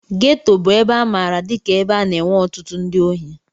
Geto bụ ebe a maara dika ebe na-enwe ọtụtụ ndị ohi.